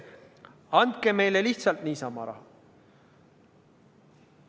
Andke meile lihtsalt niisama raha.